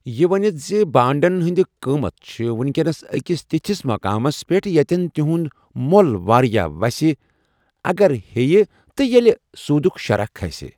یہِ ونِتھ زِ ، بانڈٕٗن ہندِ قۭمت چھِ ؤنہِ كینس أکِس تِتھِِس مُقامَس پٮ۪ٹھ یتٮ۪ن تِہُنٛد مۄل وارِیاہ وسہِ اگرہیہ تہٕ ییلہِ صۄدٗك شرح كھٕسہِ ۔